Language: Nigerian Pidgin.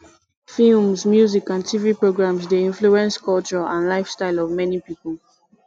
films music and tv programs dey influence culture and lifestyle of many people